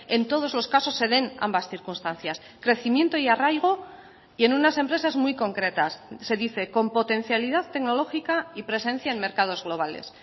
en todos los casos se den ambas circunstancias crecimiento y arraigo y en unas empresas muy concretas se dice con potencialidad tecnológica y presencia en mercados globales